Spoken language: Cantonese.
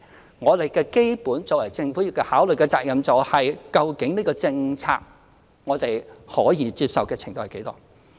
就這項政策而言，我們作為政府的基本責任是考慮我們可以接受的程度為何。